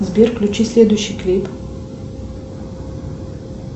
сбер включи следующий клип